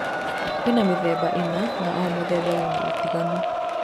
Kwĩ mĩthemba ĩna na o mũthemba wĩna ũtiganu.